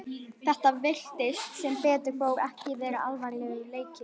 Þetta virtist, sem betur fór, ekki vera alvarlegur leki.